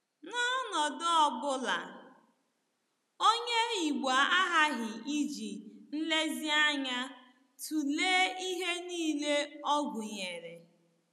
N’ọnọdụ ọ bụla, Onye Igbo aghaghị iji nlezianya tụlee ihe nile ọ gụnyere.